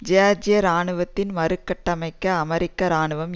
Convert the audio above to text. ஜியார்ஜிய இராணுவத்தின் மறு கட்டமைக்க அமெரிக்க இராணுவம்